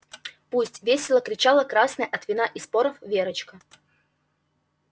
пусть весело кричала красная от вина и споров верочка